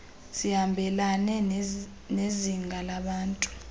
zihambelane nezinga labantu